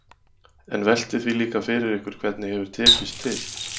En veltið því líka fyrir ykkur hvernig hefur tekist til?